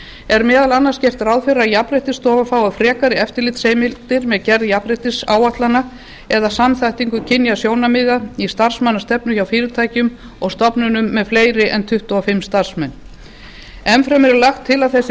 er meðal annars gert ráð fyrir að jafnréttisstofa fái frekari eftirlitsheimildir með gerð jafnréttisáætlana eða samþættingu kynjasjónarmiða í starfsmannastefnu hjá fyrirtækjum og stofnunum með fleiri en tuttugu og fimm starfsmenn enn fremur er lagt til að þessi fyrirtæki